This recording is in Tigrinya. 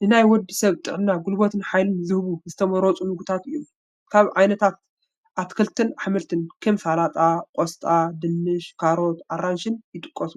ንናይ ወዲ ሰብ ጥዕና ጉልበትን ሓይልን ዝህቡ ዝተመረፁ ምግብታት እዮም፡፡ ካብ ዓይነታት ኣትክልትን ኣሕምልትን ከም ጠላጣ፣ ቆስጣ፣ ድንሽን፣ ካሮትን ኣራንሽን ይጥቀሱ፡፡